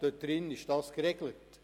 Dort ist das geregelt.